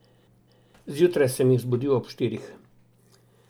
Zjutraj sem jih zbudil ob štirih.